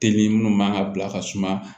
Teli minnu man ka bila ka suma